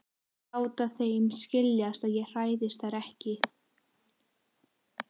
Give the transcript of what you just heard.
Láta þeim skiljast að ég hræðist þær ekki.